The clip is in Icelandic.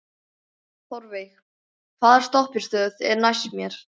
Þórveig, hvaða stoppistöð er næst mér?